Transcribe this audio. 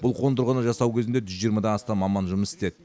бұл қондырғыны жасау кезінде жүз жиырмадан астам маман жұмыс істеді